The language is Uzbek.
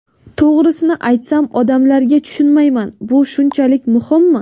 To‘g‘risini aytsam, odamlarga tushunmayman, bu shunchalik muhimmi?